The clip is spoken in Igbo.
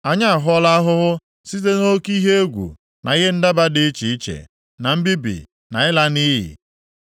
Anyị ahụọla ahụhụ site nʼoke ihe egwu na ihe ndaba dị iche iche, na mbibi na ịla nʼiyi.”